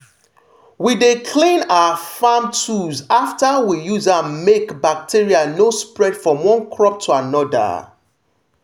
we dey clean our farm tools after we use am make bacteria no spread from one crop to another.